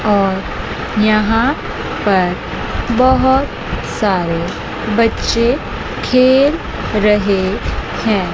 और यहां पर बहोत सारे बच्चे खेल रहे हैं।